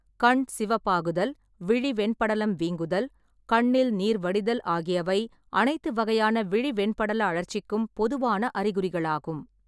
கண் சிவப்பாக்குதல், விழி வெண்படலம் வீங்குதல், கண்ணில் நீர் வடிதல் ஆகியவை அனைத்து வகையான விழி வெண்படல அழற்சிக்கும் பொதுவான அறிகுறிகளாகும்.